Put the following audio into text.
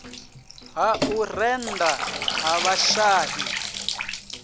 ha u rennda ha vhashai